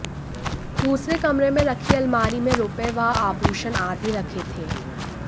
दूसरे कमरे में रखी अलमारी में रुपये व आभूषण आदि रखे थे